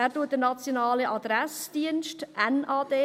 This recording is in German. Er erarbeitet einen nationalen Adressdienst (NAD).